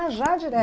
Ah, já direto?